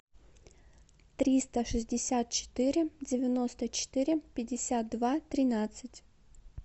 триста шестьдесят четыре девяносто четыре пятьдесят два тринадцать